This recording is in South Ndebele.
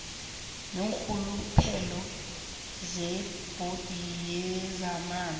neenrhuluphelo zebhodi yezamanzi